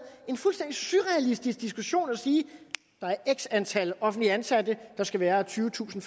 en fuldstændig surrealistisk diskussion at sige der er x antal offentligt ansatte der skal være tyvetusind